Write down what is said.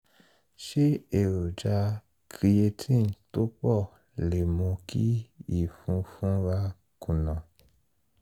ṣé èròjà creatinine tó pọ̀ lè mú kí ìfun funra kùnà?